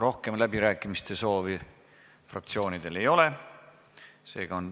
Rohkem läbirääkimiste soove fraktsioonidel ei ole.